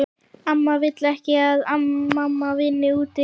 Amma vill ekki að mamma vinni úti.